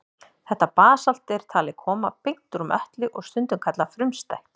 Þetta basalt er talið koma beint úr möttli og stundum kallað frumstætt.